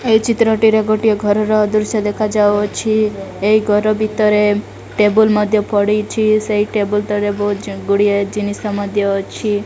ଏହି ଚିତ୍ରଟିରେ ଗୋଟିଏ ଘରର ଦୃଶ୍ୟ ଦେଖା ଯାଉଅଛି ଏହି ଘର ଭିତରେ ଟେବୁଲ ମଧ୍ୟ ପଡ଼ିଚି ସେ ଟେବୁଲ ତଳେ ବହୁ ଚଙ୍ଗୁଡ଼ିଆ ଜିନିଷ ମଧ୍ୟ ଅଛି।